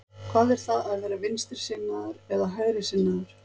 Hvað er það að vera vinstrisinnaður eða hægrisinnaður?